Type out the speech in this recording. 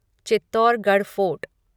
Chittorgarh fort